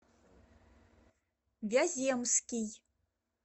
вяземский